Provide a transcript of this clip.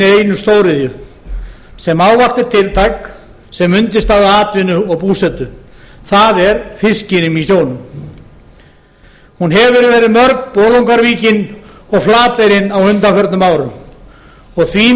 einu stóriðju sem ávallt er tiltæk sem undirstaða atvinnu og búsetu það er fiskinum í sjónum hún hefur verið mörg bolungarvíkin og flateyrin á undanförnum árum því